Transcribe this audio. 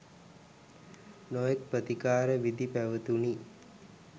නොයෙකුත් ප්‍රතිකාර විධි පැවතුණි.